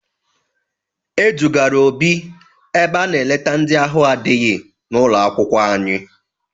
E dugara Obi ebe a na-eleta ndị ahụ adịghị n'ụlọ akwụkwọ anyị.